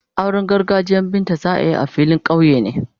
Auren gargajiyan Binta za a yi a filin kauye ne.